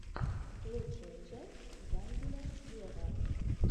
лучшая часть янделя вево